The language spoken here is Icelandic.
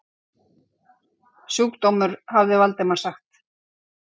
Sjúkdómur hafði Valdimar sagt.